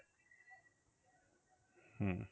হুম